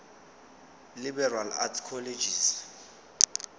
liberal arts colleges